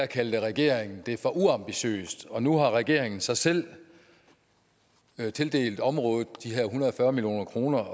kaldte regeringen det for uambitiøst og nu har regeringen så selv selv tildelt området de her en hundrede og fyrre million kroner